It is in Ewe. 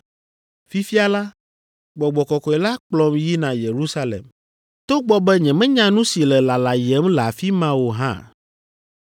“Fifia la, Gbɔgbɔ Kɔkɔe la kplɔm yina Yerusalem, togbɔ be nyemenya nu si le lalayem le afi ma o hã.